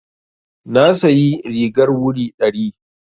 Na sayi rigar wuri ɗari.